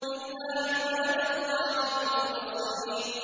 إِلَّا عِبَادَ اللَّهِ الْمُخْلَصِينَ